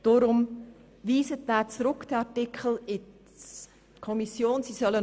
Deshalb bitte ich Sie, diesen Artikel zurück in die Kommission zu schicken.